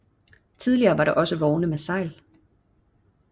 Tidligere var der også vogne med sejl